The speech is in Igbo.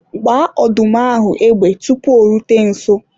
gbaa ọdụm ahụ égbè tupu o rute nso!